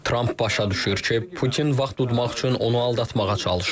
Tramp başa düşür ki, Putin vaxt udmaq üçün onu aldatmağa çalışır.